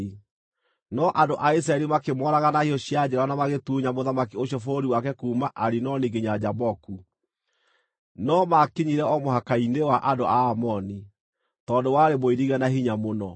No andũ a Isiraeli makĩmooraga na hiũ cia njora na magĩtunya mũthamaki ũcio bũrũri wake kuuma Arinoni nginya Jaboku, no maakinyire o mũhaka-inĩ wa andũ a Amoni, tondũ warĩ mũirige na hinya mũno.